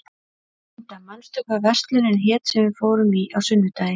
Inda, manstu hvað verslunin hét sem við fórum í á sunnudaginn?